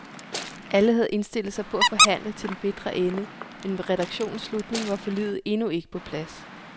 Alle havde indstillet sig på at forhandle til den bitre ende, men ved redaktionens slutning var forliget endnu ikke på plads.